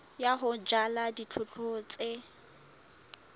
ya ho jala dijothollo tse